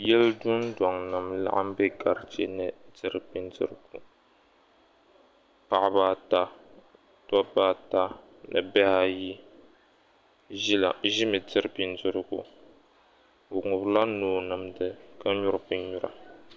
Yili dundɔŋnim n-laɣim bɛ ka ʒini diri bindirigu. Paɣaba ata, dobba ata ni bihi ayi ʒi mi diri bindirigu. Bi ŋubiri la noo nimdi ka nyuri binnyura.